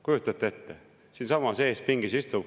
Kujutate ette, siinsamas eespingis istub.